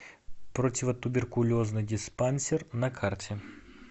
противотуберкулезный диспансер на карте